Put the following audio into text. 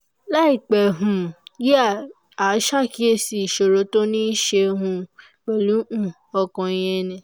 láìpẹ́ um yìí a ṣàkíyèsí ìṣòro tó níí ṣe um pẹ̀lú um ọkàn ìyẹn ni